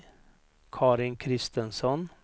Karin Christensson